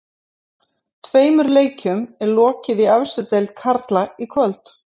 Tveimur leikjum er lokið í efstu deild karla í kvöld.